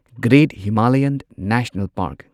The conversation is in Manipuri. great Himalayan national park